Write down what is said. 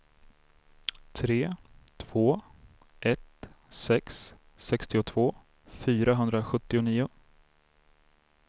tre två ett sex sextiotvå fyrahundrasjuttionio